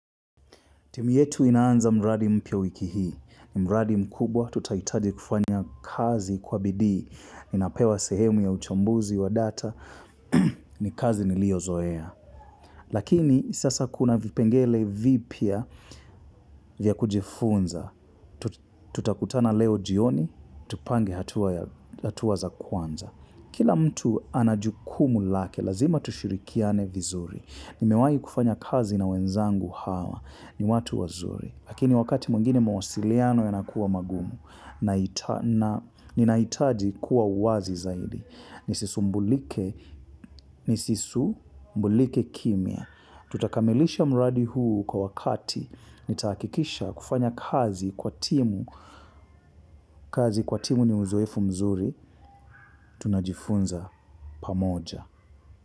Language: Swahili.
Timu yetu inaanza mradi mpya wiki hii. Mradi mkubwa tutaitaji kufanya kazi kwa bidii. Ninapewa sehemu ya uchambuzi wa data. Ni kazi niliozoea. Lakini sasa kuna vipengele vipya vya kujifunza. Tutakutana leo jioni. Tupange hatuwa za kwanza. Kila mtu ana jukumu lake. Lazima tushirikiane vizuri. Nimewai kufanya kazi na wenzangu hawa. Ni watu wazuri. Lakini wakati mwengine mawasiliano yanakuwa magumu, ninaitaji kuwa wazi zaidi. Nisisumbulike kimya. Tutakamilisha mradi huu kwa wakati, nitaakikisha kufanya kazi kwa timu. Kazi kwa timu ni uzoefu mzuri, tunajifunza pamoja.